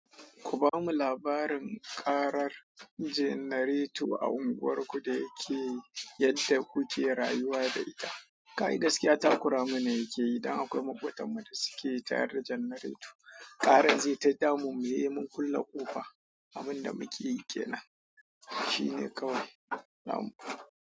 Ku ba mu labarin ƙarar jannareto a unguwarku da yake yadda kuke rayuwa da ita. Kai gaskiya ta kura mana yake yi, dan akwai maƙwabtan mu da suke tayar da jannareto, ƙaran zai ta damunmu, sai mun kulle ƙofa, abin da muke yike nan shine kawai lam.